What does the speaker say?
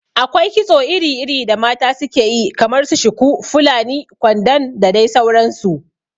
Akwai kitso iri iri da mata su ke yi kamar su shuku, fulani, kwandon da dai sauran su